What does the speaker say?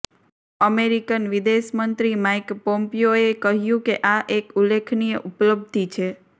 American વિદેશ મંત્રી Mike પોમ્પિયોએ કહ્યું કે આ એક ઉલ્લેખનીય ઉપલબ્ધિ છે